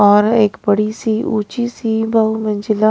और एक बड़ी सी ऊंची सी बहू मंजिला में--